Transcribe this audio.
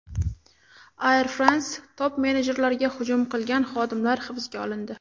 Air France top-menejerlariga hujum qilgan xodimlar hibsga olindi .